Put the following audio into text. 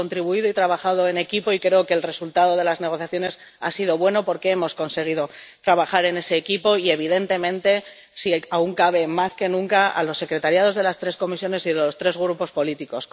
hemos contribuido y trabajado en equipo y creo que el resultado de las negociaciones ha sido bueno porque hemos conseguido trabajar en ese equipo, y, evidentemente, si aún cabe, más que nunca, a las secretarías de las tres comisiones y los tres grupos políticos.